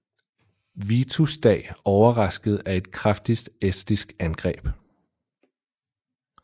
Vitus dag overrasket af et kraftigt estisk angreb